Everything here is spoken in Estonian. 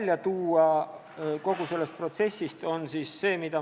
Mida võiks kogu sellest protsessist välja tuua?